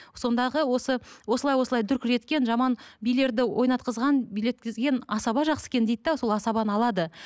сондағы осы осылай осылай дүркіреткен жаман билерді ойнатқызған билеткізген асаба жақсы екен дейді де сол асабаны алады